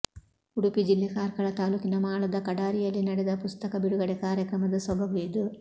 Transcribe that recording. ಉಡುಪಿ ಜಿಲ್ಲೆ ಕಾರ್ಕಳ ತಾಲೂಕಿನ ಮಾಳದ ಕಡಾರಿಯಲ್ಲಿ ನಡೆದ ಪುಸ್ತಕ ಬಿಡುಗಡೆ ಕಾರ್ಯಕ್ರಮದ ಸೊಬಗು ಇದು